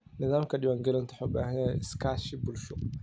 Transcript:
Nidaamka diiwaangelintu wuxuu u baahan yahay iskaashi bulsho.